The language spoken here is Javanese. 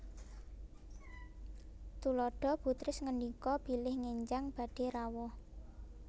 Tuladha Bu Tris ngendika bilih ngenjang badhé rawuh